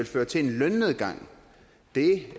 føre til en lønnedgang